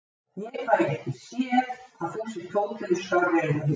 Ég fæ ekki séð að þú sért hótinu skárri en við hinir.